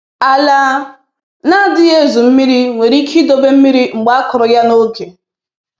Ala na-adịghị ezu mmiri nwere ike idobe mmiri mgbe akụrụ ya n’oge